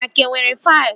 Anyị a ka nwere faịlụ?